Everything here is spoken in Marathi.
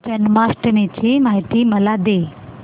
जन्माष्टमी ची माहिती मला दे